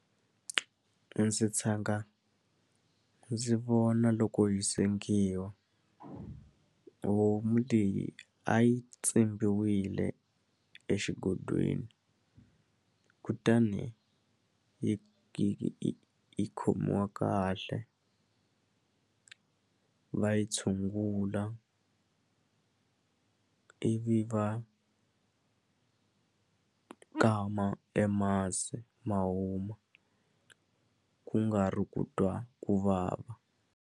Ndzi tshanga ndzi vona loko yi sengiwa homu leyi a yi tsimbiwile exigondweni kutani yi yi khomiwa kahle va yi tshungula ivi va kama e masi ma huma ku nga ri ku twa ku vava.